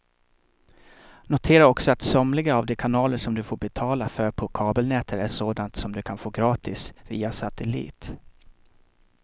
Notera också att somliga av de kanaler som du får betala för på kabelnätet är sådana som du kan få gratis via satellit.